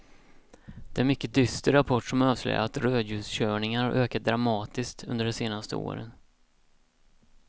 Det är en mycket dyster rapport som avslöjar att rödljuskörningarna har ökat dramatiskt under de senaste åren.